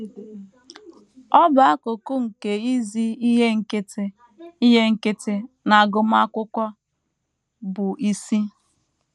Ọ bụ akụkụ nke izi ihe nkịtị ihe nkịtị na agụmakwụkwọ bụ́ isi.